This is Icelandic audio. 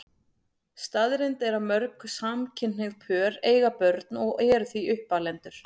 Staðreynd er að mörg samkynhneigð pör eiga börn og eru því uppalendur.